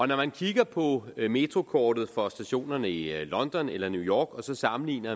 når man kigger på metrokortet for stationerne i london eller new york og sammenligner